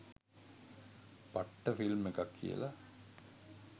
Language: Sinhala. පට්ට ෆිල්ම් එකක් කියල